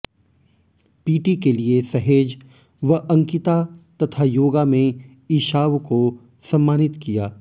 PT के लिए सहेज व अंकिता तथा योगा में ईशाव को स मानित किया